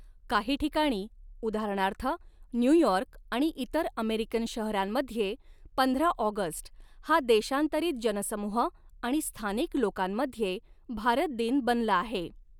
काही ठिकाणी, उदाहरणार्थ न्यूयॉर्क आणि इतर अमेरिकन शहरांमध्ये, पंधरा ऑगस्ट हा देशांतरित जनसमूह आणि स्थानिक लोकांमध्ये 'भारत दिन' बनला आहे.